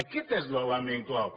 aquest és l’element clau